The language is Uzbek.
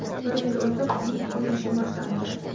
Bir yil o‘tib uning qurilishi boshlandi.